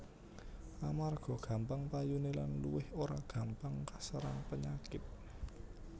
Amarga gampang payuné lan luwih ora gampang kaserang penyakit